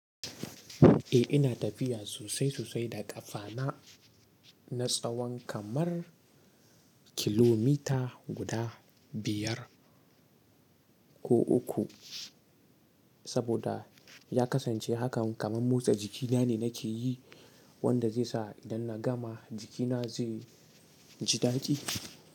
Eh ina tafiya sosai-sosai da ƙafana. Na tsawon kamar, kilomita guda biyar, ko uku, saboda ya kasance hakan kamar motsa jikina ne nake yi. Wanda zai sa idan na gama jikina zai, ji daɗi.